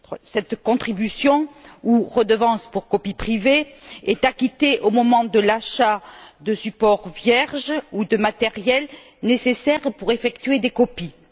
Cette contribution, ou redevance pour copie privée, est acquittée au moment de l'achat de supports vierges ou du matériel nécessaire pour effectuer des copies.